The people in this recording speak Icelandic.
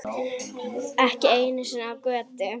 Ekki einu sinni á götu.